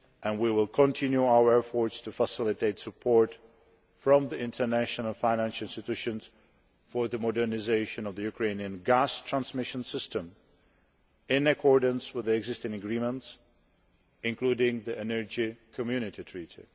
We will continue our efforts to facilitate support from the international financial institutions for the modernisation of the Ukrainian gas transmission system, in accordance with existing agreements, including the Energy Community Treaty.